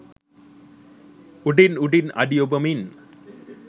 උඩින් උඩින් අඩි ඔබමින්